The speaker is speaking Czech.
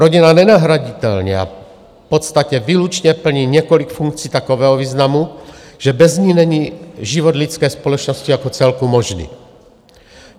Rodina nenahraditelně a v podstatě výlučně plní několik funkcí takového významu, že bez ní není život lidské společnosti jako celku možný.